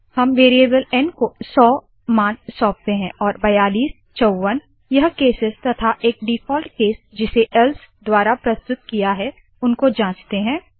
हम variable N को सौ मान सौपते है और बयालीस चौवन यह केसेस तथा एक डिफ़ॉल्ट केस जिसे एल्स द्वारा प्रस्तुत किया है उनको जांचते है